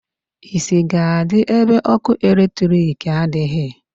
Isi ga-adi ébé ọkụ electric adịghị.